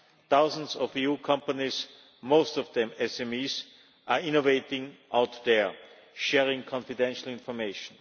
Thousands of EU companies, most of them SMEs, are innovating out there, sharing confidential information.